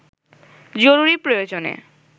জরুরি প্রয়োজনে